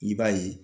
I b'a ye